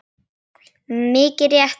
Mikið rétt svarar Arnar.